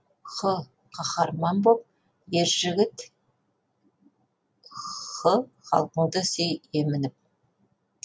һ қаһарман боп ер жігіт х халқыңды сүй емініп